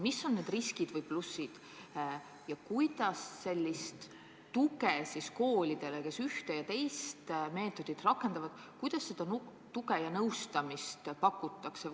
Mis on need riskid ja plussid ja kuidas koolidele, kes ühte või teist meetodit rakendavad, nõustamist ja muud tuge pakutakse?